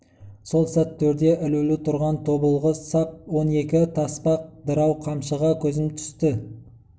сол сәт төрде ілулі түрған тобылғы сап он екі таспа дырау қамшыға көзім түсті